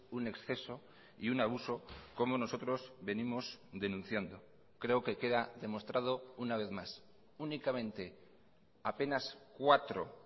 un exceso y un abuso como nosotros venimos denunciando creo que queda demostrado una vez más únicamente apenas cuatro